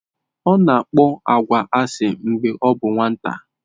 Ọ na-akpọ agwa asị mgbe ọ bụ nwata.